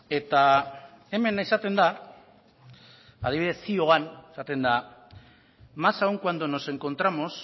eta hemen esaten da adibidez zioan esaten da más aún cuando nos encontramos